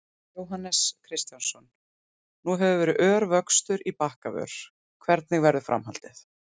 Jóhannes Kristjánsson: Nú hefur verið ör vöxtur í Bakkavör, hvernig verður framhaldið?